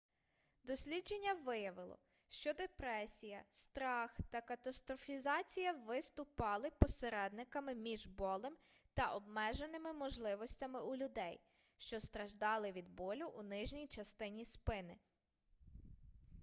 дослідження виявило що депресія страх та катастрофізація виступали посередниками між болем та обмеженими можливостями у людей що страждали від болю у нижній частині спини